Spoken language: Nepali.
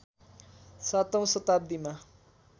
सातौं शताब्दीमा